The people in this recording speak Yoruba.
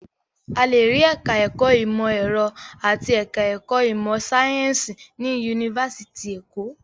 A lè rí ẹ̀ka-ẹ̀kọ́ ìmọ̀-ẹ̀rọ àti ẹ̀ka-ẹ̀kọ́ ìmọ̀-sáyẹ́ńsì ní yunifásitì Èkó.